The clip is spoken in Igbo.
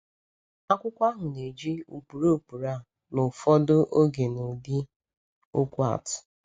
Akwụkwọ ahụ na-eji ụkpụrụ ụkpụrụ a ụfọdụ oge n’ụdị okwu atụ.